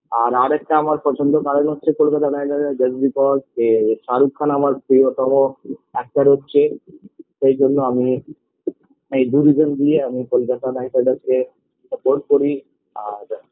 আর আরেকটা আমার প্রচন্ড কারণ হচ্ছে কলকাতার night riders just because -কে শাহরুখ খান আমার প্রীয়তম actor হচ্ছে সেইজন্য আমি এই reason দিয়ে আমি কলকাতা night riders -কে support করি আর